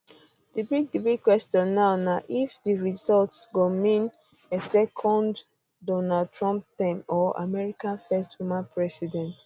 di big di big question now na if di result um go mean um a second donald trump term or america first woman president